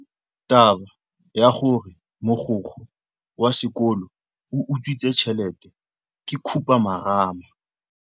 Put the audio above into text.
Taba ya gore mogokgo wa sekolo o utswitse tšhelete ke khupamarama.